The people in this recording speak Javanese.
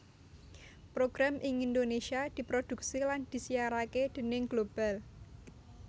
Program ing Indonesia diproduksi lan disiarake déning Global